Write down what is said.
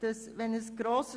Parallel zu grossen